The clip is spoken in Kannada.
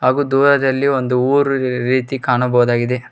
ಹಾಗು ದೂರದಲ್ಲಿ ಒಂದು ಊರು ರೀತಿ ಕಾಣಬಹುದಾಗಿದೆ.